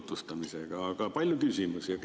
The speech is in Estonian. Aga palju küsimusi.